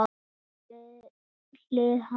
Andrea við hlið hans.